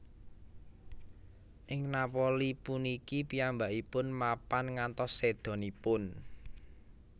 Ing Napoli puniki piyambakipun mapan ngantos sédanipun